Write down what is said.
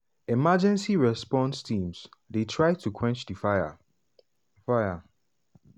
emergency response teams dey try to quench di fire. fire.